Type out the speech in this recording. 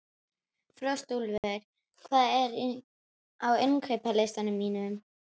Frostúlfur, hvað er á innkaupalistanum mínum?